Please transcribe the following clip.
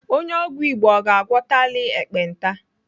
Onye ọgwụ Igbo ọ ga-agwọtali ekpenta?